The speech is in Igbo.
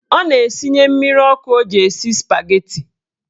Ọ na-esinye mmiri ọkụ o ji esi spageti.